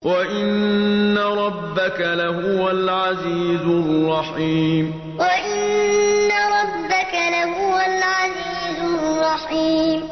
وَإِنَّ رَبَّكَ لَهُوَ الْعَزِيزُ الرَّحِيمُ وَإِنَّ رَبَّكَ لَهُوَ الْعَزِيزُ الرَّحِيمُ